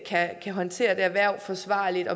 kan håndtere det her hverv forsvarligt